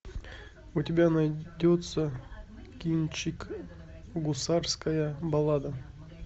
у тебя найдется кинчик гусарская баллада